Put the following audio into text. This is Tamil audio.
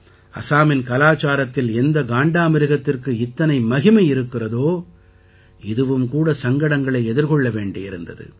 அசாமின் கலாச்சாரத்தில் எந்த காண்டாமிருகத்திற்கு இத்தனை மகிமை இருக்கிறதோ இதுவும் கூட சங்கடங்களை எதிர்கொள்ள வேண்டியிருந்தது